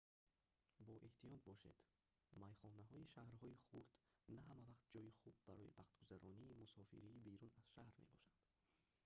боэҳтиёт бошед майхонаҳои шаҳрҳои хурд на ҳамавақт ҷойи хуб барои вақтгузаронии мусофири берун аз шаҳр мебошанд